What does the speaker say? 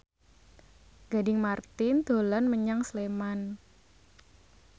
Gading Marten dolan menyang Sleman